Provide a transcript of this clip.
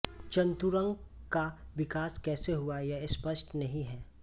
चतुरंग का विकास कैसे हुआ यह स्पष्ट नहीं है